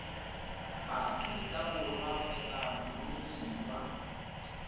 ba aforika borwa kgotsa boromiwa